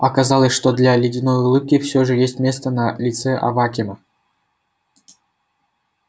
оказалось что для ледяной улыбки всё же есть место на лице авакима